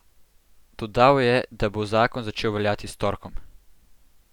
Dodal je, da bo zakon začel veljati s torkom.